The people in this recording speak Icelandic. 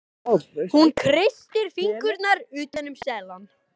Hún kreistir fingurna utan um seðlana.